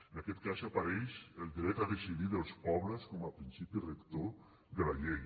en aquest cas apareix el dret a decidir dels pobles com a principi rector de la llei